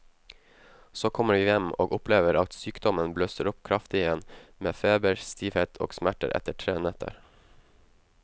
Så kommer vi hjem og opplever at sykdommen blusser kraftig opp igjen med feber, stivhet og smerter etter tre netter.